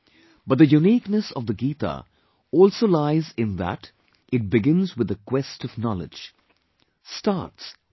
But the uniqueness of the Gita also lies in that it begins with the quest of knowledge... starts with a question